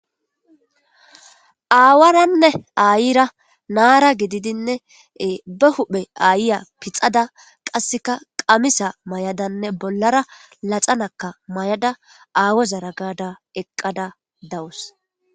aawaranne aayira naara gididinne ba huphe aayiya pixada qasseka qamisa may7adanne bollara laxanakka may7ada aawozara gada eqqada dawus.